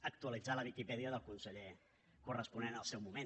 actualitzar la viquipèdia del conseller corresponent al seu moment